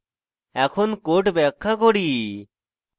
এখন code ব্যাখ্যা করি